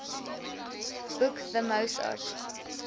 boek the mozart